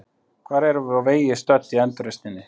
Hvar erum við á vegi stödd í endurreisninni?